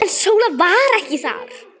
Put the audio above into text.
En Sóla var ekki þar.